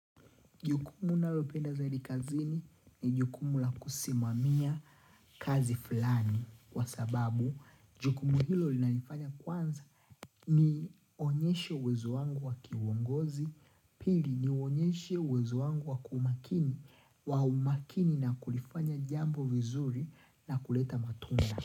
Jukumu ninalopenda za kazini ni jukumu la kusimamia kazi fulani Kwa sababu, jukumu hilo linanifanya kwanza Nionyeshe uwezo wangu wa kiuongozi Pili nionyeshe uwezo wangu wa kumakini wa umakini na kulifanya jambo vizuri na kuleta matunda.